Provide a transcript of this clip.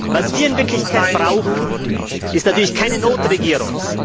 Was wir in Wirklichkeit brauchen, ist natürlich keine Notregierung.